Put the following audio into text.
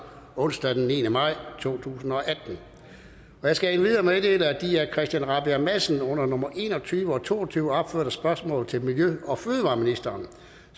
onsdag den niende maj to tusind og atten jeg skal endvidere meddele at de af christian rabjerg madsen under nummer en og tyve og to og tyve opførte spørgsmål til miljø og fødevareministeren